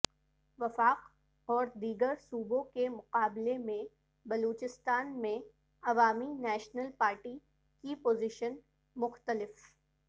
وفاق اور دیگر صوبوں کے مقابلے میں بلوچستان میں عوامی نیشنل پارٹی کی پوزیشن مختلف